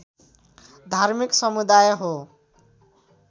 धार्मिक समुदाय हो